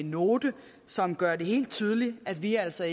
note som gør det helt tydeligt at vi altså